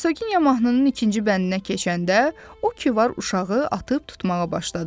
Hersogenya mahnının ikinci bəndinə keçəndə o ki var uşağı atıb tutmağa başladı.